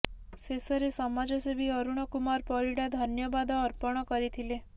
ଶେଷରେ ସମାଜସେବୀ ଅରୁଣ କୁମାର ପରିଡ଼ା ଧନ୍ୟବାଦ ଅର୍ପଣ କରିଥିଲେ